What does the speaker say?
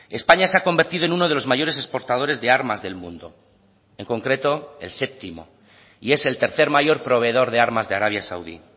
españa se ha convertido en uno de los mayores exportadores de armas del mundo en concreto el séptimo y es el tercer mayor proveedor de armas de arabia saudí